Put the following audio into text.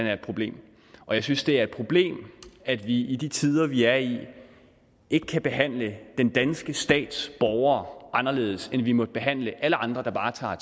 er et problem og jeg synes det er et problem at vi i de tider vi er i ikke kan behandle den danske stats borgere anderledes end vi må behandle alle andre der bare tager